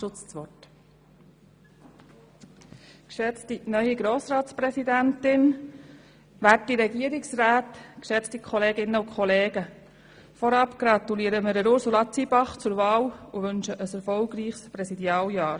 Vorab gratulieren wir Ursula Zybach zur Wahl und wünschen ihr ein erfolgreiches Präsidialjahr.